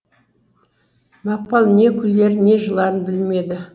мақпал не күлерін не жыларын білмеді